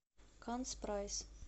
канц прайс